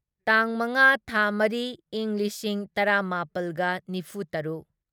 ꯇꯥꯡ ꯃꯉꯥ ꯊꯥ ꯃꯔꯤ ꯢꯪ ꯂꯤꯁꯤꯡ ꯇꯔꯥꯃꯥꯄꯜꯒ ꯅꯤꯐꯨꯇꯔꯨꯛ